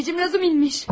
Razumixin imiş.